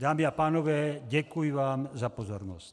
Dámy a pánové, děkuji vám za pozornost.